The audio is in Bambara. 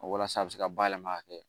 Walasa a bɛ se ka bayɛlɛma ka kɛ